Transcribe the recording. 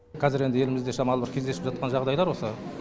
қазір енді елімізде шамалы бір кездесіп жатқан жағдайлар осы